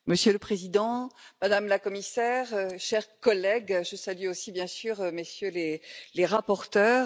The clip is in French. Monsieur le Président, Madame la Commissaire, chers collègues, je salue aussi, bien sûr, Messieurs les rapporteurs.